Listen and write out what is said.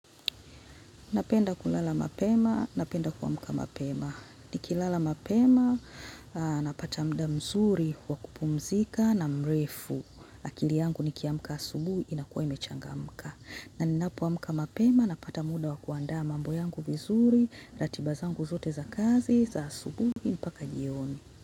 Napenda kulala mapema, napenda kuamka mapema. Nikilala mapema, napata muda mzuri, wakupumzika na mrefu. Akili yangu nikiamka asubuhi, inakuwa imechangamka. Na ninapo amka mapema, napata muda wakuandaa mambo yangu vizuri, ratiba zangu zote za kazi, za asubuhi, mpaka jioni.